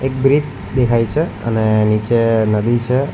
Bridge દેખાય છે અને નીચે નદી છે.